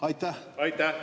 Aitäh!